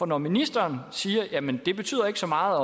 når ministeren siger at jamen det betyder ikke så meget